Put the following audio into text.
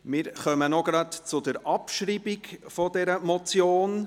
Wir kommen noch zur Abschreibung der Motion.